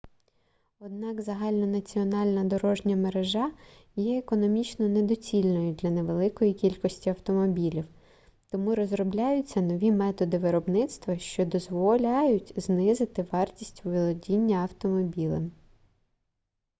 однак загальнонаціональна дорожня мережа є економічно недоцільною для невеликої кількості автомобілів тому розробляються нові методи виробництва що дозволяють знизити вартість володіння автомобілем